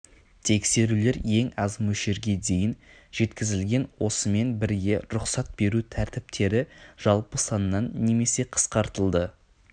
тексерулер ең аз мөлшерге дейін жеткізілген осымен бірге рұқсат беру тәртіптері жалпы саннан немесе қысқартылды